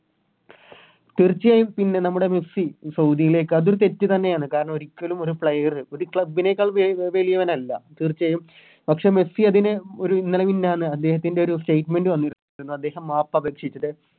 തീർച്ചയായും പിന്നെ നമ്മുടെ മെസ്സി സൗദിയിലേക്ക് അതൊരു തെറ്റ് തന്നെയാണ് കാരണം ഒരിക്കലും ഒരു Player ഒരു Club നേക്കാൾ വേ വേലിയവനല്ല തീർച്ചയായും പക്ഷെ മെസ്സി അതിന് ഒരു അദ്ദേഹത്തിൻറെ ഒരു Statement വന്നി അദ്ദേഹം മാപ്പപേക്ഷിച്ചിട്ട്